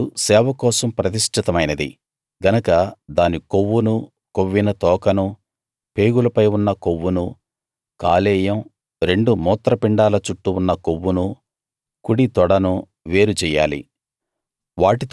ఆ పొట్టేలు సేవ కోసం ప్రతిష్ఠితమైనది గనక దాని కొవ్వునూ కొవ్విన తోకనూ పేగులపై ఉన్న కొవ్వునూ కాలేయం రెండు మూత్రపిండాల చుట్టూ ఉన్న కొవ్వునూ కుడి తొడను వేరు చెయ్యాలి